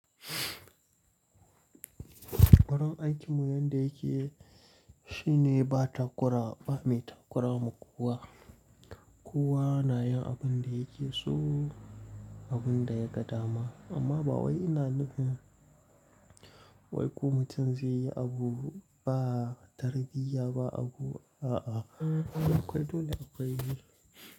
Barin aikinmu yanda yake shine ba takura, ba mai takura ma kowa. Kowa na yin abin da yake so, abin da ya ga dama. Amma ba wai ina nufin wai ku mutum zai yi abu ba tarbiyya ba abu a'a. Akwai dole akwai.